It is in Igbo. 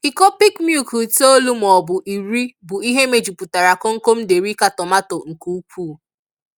Iko peak milk itoolu maọbu iri bụ ihe mejupụtara komkom Derica tomato nke ukwuu.